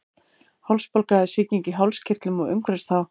hálsbólga er sýking í hálskirtlum og umhverfis þá